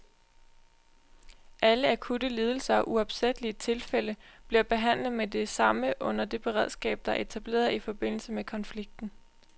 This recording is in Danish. Alle akutte lidelser og uopsættelige tilfælde bliver behandlet med det samme under det beredskab, der er etableret i forbindelse med konflikten.